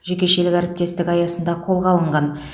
жекешелік әріптестік аясында қолға алынған